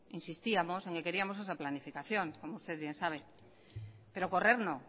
insistíamos en que queríamos esa planificación como usted bien sabe pero correr no